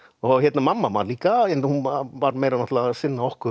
mamma vann líka hún var meira að sinna okkur